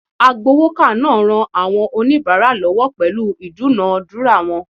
Agbowoka naa ran awon onibara lowo pelu idunadura won